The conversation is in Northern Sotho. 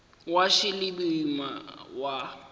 wa š le boima wa